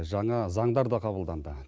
жаңа заңдар да қабылданды